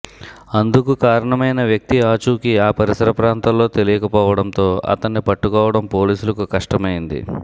అందుకు కారణమైన వ్యక్తి ఆచూకీ ఆ పరిసర ప్రాంతాల్లో తెలియకపోవడంతో అతన్ని పట్టుకోవడం పోలీసులకు కష్టమైంది